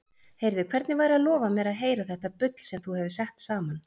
Heyrðu, hvernig væri að lofa mér að heyra þetta bull sem þú hefur sett saman?